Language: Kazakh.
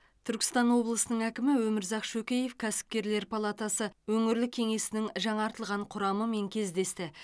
түркістан облысының әкімі өмірзақ шөкеев кәсіпкерлер палатасы өңірлік кеңесінің жаңартылған құрамымен кездесті